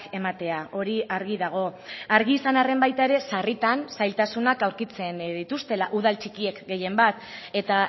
ematea hori argi dago argi izan arren baita ere sarritan zailtasunak aurkitzen dituztela udal txikiek gehienbat eta